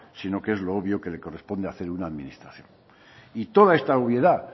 sino que es lo obvio que le corresponde hacer a una administración y toda esta obviedad